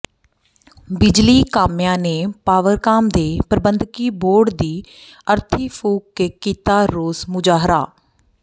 ਬਿਜਲੀ ਕਾਮਿਆਂ ਨੇ ਪਾਵਰਕਾਮ ਦੇ ਪ੍ਰਬੰਧਕੀ ਬੋਰਡ ਦੀ ਅਰਥੀ ਫ਼ੂਕ ਕੇ ਕੀਤਾ ਰੋਸ ਮੁਜ਼ਾਹਰਾ